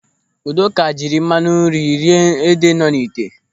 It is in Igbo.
Udoka jiri mmanụ nri rie ede nọ n'ite.